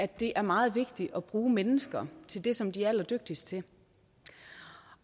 det er meget vigtigt at bruge mennesker til det som de er allerdygtigst til